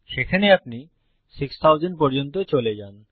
সেখানে আপনি 6000 পর্যন্ত চলে যান